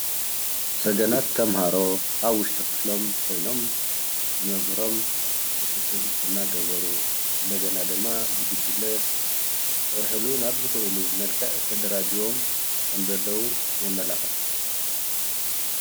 ሰገናት ተምሃሮ ኣብ ውሽጢ ክፍሎም ኾይንም ንመምህሮም ክትትል እናገበሩ እንደገና ድማ ብጉጅለ ክሰርሕሉ ናብ ዝኽእሉ መልክዕ ተደራጂዮም ከም ዘለው የመላኽት።